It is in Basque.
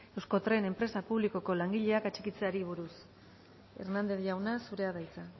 euskotren enpresa publikoko langileak atxikitzeari buruz hernández jauna zurea da hitza